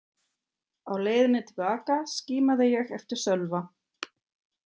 Á leiðinni til baka skimaði ég eftir Sölva.